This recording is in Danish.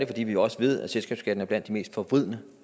fordi vi også ved at selskabsskatten er blandt de mest forvridende